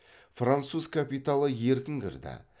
француз капиталы еркін кірді